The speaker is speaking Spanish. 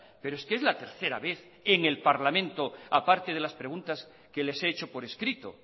pero es que es la tercera vez en el parlamento aparte de las preguntas que les he hecho por escrito